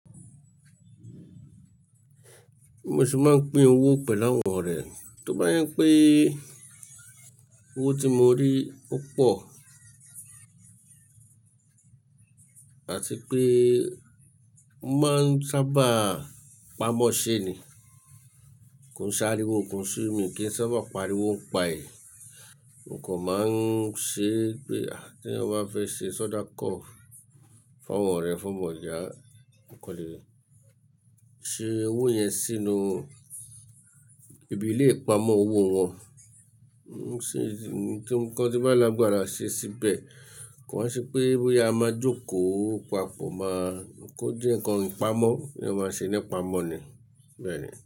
Mo ṣì máa ń pín owó pẹ̀lú àwọn ọ̀rẹ́, tó bá je pé owó tí mo rí ó pọ̀ àti pé mo máa ń sábà pamọ́ ṣe ni. Kò ń sáré owó kan só mi kí n sábà pariwo ni pae" mo kan máa ń ṣe pé tí ẹyan bá fẹ́ ṣe soda cough fún àwọn ọ̀rẹ́ fún bọ̀da, mo kan le ṣe owó yẹn sínú ibi ilé ìpamọ́ owó wọn. Ṣé ti ǹkan tí bá lágbára ṣe síbẹ̀, kò wa ṣe pé bóyá a máa jókòó papọ̀ máa kó jẹ́ ǹkan ìpamọ́ ni a máa ṣe nípa'mọ̀ ni bẹ́ẹ̀ni.